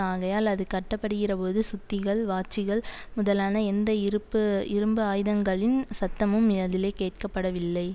ஆகையால் அது கட்டப்படுகிறபோது சுத்திகள் வாச்சிகள் முதலான எந்த இருப்பு இரும்பு ஆயுதங்களின் சத்தமும் அதிலே கேட்கப்படவில்லை